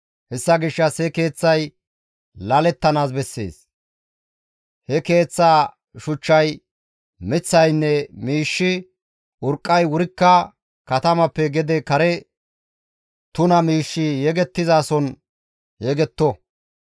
Hessa gishshas he keeththay laalettanaas bessees; he keeththaa shuchchay, miththaynne miishshi, urqqay wurikka katamappe gede kare tuna miishshi yegettizason yegetto.